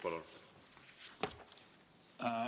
Palun!